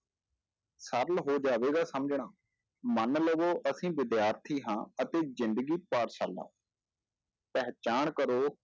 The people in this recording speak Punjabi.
ਸਰਲ ਹੋ ਜਾਵੇਗਾ ਸਮਝਣਾ ਮਨ ਲਵੋ ਅਸੀਂ ਵਿਦਿਆਰਥੀ ਹਾਂ ਅਤੇ ਜ਼ਿੰਦਗੀ ਪਾਠਸ਼ਾਲਾ ਪਹਿਚਾਣ ਕਰੋ,